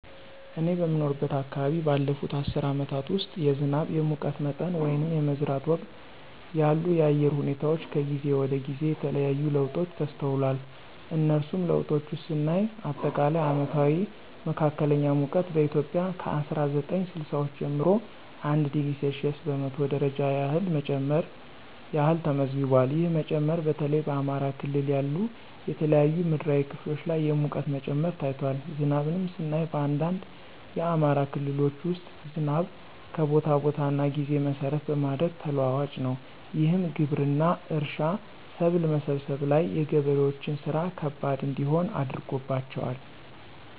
እኔ በምኖርበት አከባቢ ባለፉት አስርት አመታት ውስጥ የዝናብ፣ የሙቀት መጠን ወይንም የመዝራት ወቅት ያሉ የአየር ሁኔታወች ከጊዜ ወደ ጊዜ የተለያየ ለውጦች ተስተውሏል። ከነሱም ለውጦች ውስጥ ስናይ አጠቃላይ አመታዊ መካከለኛ ሙቀት በኢትዮጵያ ከ አስራ ዘጠኝ ስልሳወቹ ጀምሮ 1°c በመቶ ደረጃ ያህል መጨመር ያህል ተመዝግቧል። ይህ መጨመር በተለይ በአማራ ክልል ያሉ የተለያዩ ምድራዊ ክፍሎች ላይ የሙቀት መጨመር ታይቷል። ዝናብንም ስናይ በአንዳንድ የአማራ ክልሎች ውስጥ ዝናብ ከቦታ ቦታ እና ጊዜ መሰረት በማድረግ ተለዋዋጭ ነው። ይህም ግብርና፣ እርሻ፣ ሰብል መሰብሰብ ላይ የገበሬዎችን ስራ ከባድ እንዲሆን አድርጎባቸዋል።